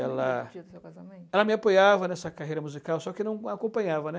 Ela, no dia do seu casamento, ela me apoiava nessa carreira musical, só que não acompanhava, né.